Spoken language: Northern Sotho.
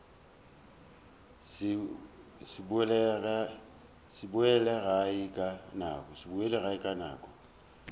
se boele gae ka nako